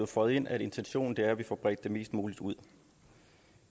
føjet ind at intentionen er at vi får bredt det mest muligt ud